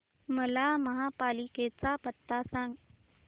मला महापालिकेचा पत्ता सांग